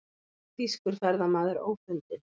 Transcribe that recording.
Þýskur ferðamaður ófundinn